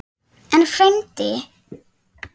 En, frændi